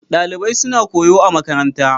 Dalibai suna koyo a makaranta.